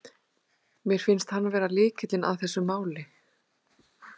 Mér finnst hann vera lykillinn að þessu máli.